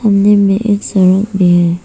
सामने में एक सड़क भी है।